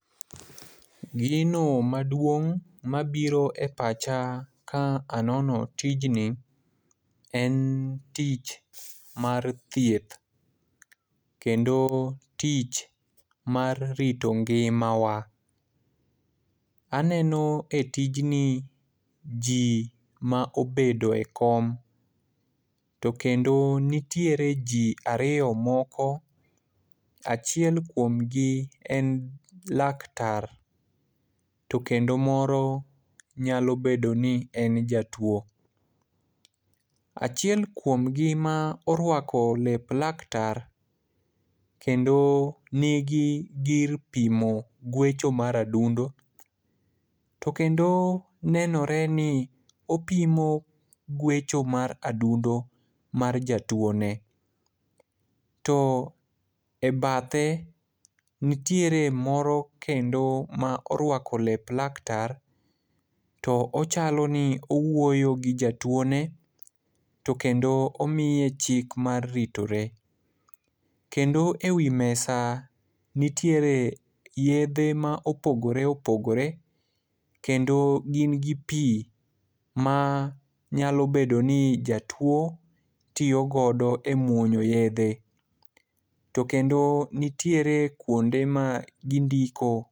Gino maduong' mabiro e pacha ka anono tijni en tich mar thieth, kendo tich mar rito ngimawa. Aneno e tijni ji ma obedo e kom, to kendo nitiere ji ariyo moko, achiel kuomgi en laktar to kendo moro nyalo bedo ni en jatuwo. Achiel kuomgi ma orwako lep laktar, kendo nigi gir pimo gwecho mar adundo, to kendo nenore ni opimo gwecho mar adundo mar jatuwone, to e bathe, nitiere moro kendo ma orwako lep laktar to ochalo ni owuoyo gi jatuwone, to kendo omiye chik mar ritore. Kendo e wi mesa nitiere yedhe ma opogore opogore, kendo gin gi pi ma nyalo bedo ni jatuwo tiyo godo e muonyo yedhe, to kendo nitiere kwonde ma indiko